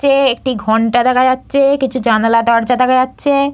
চে একটি ঘন্টা দেখা যাচ্ছে। কিছু জানালা দরজা দেখা যাচ্ছে--